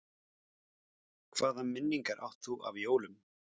Hvaða minningar átt þú af jólum?